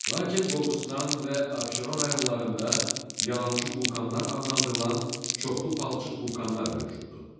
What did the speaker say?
Lakin Qobustan və Abşeron rayonlarında yalançı vulkanlar adlandırılan çoxlu palçıq vulkanlar mövcuddur.